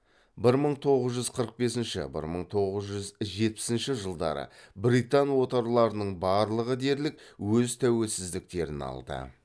бір мың тоғыз жүз қырық бесінші бір мың тоғыз жүз жетпісінші жылдары британ отарларының барлығы дерлік өз тәуелсіздіктерін алды